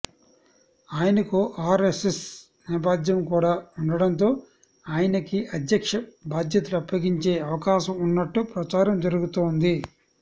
ఆయనకు ఆర్ఎస్ఎస్ నేపథ్యం కూడా ఉండడంతో ఆయనకి అధ్యక్ష బాధ్యతలు అప్పగించే అవకాశం ఉన్నట్టు ప్రచారం జరుగుతోంది